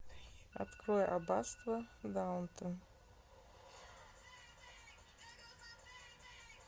открой аббатство даунтон